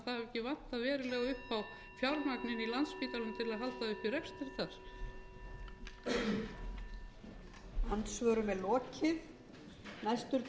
ekki á velsældarárum að það hafi ekki vantað verulega upp á fjármagnið í landspítalanum til að halda uppi rekstri þar